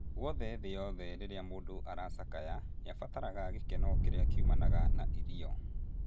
Guothe thĩ yothe rĩrĩa mũndũ aracakaya, nĩabataraga gĩkeno kĩrĩa kiumanaga na irio